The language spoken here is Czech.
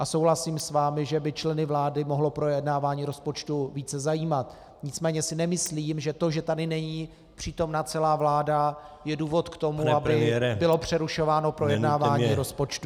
A souhlasím s vámi, že by členy vlády mohlo projednávání rozpočtu více zajímat, nicméně si nemyslím, že to, že tady není přítomna celá vláda, je důvod k tomu , aby bylo přerušováno projednávání rozpočtu.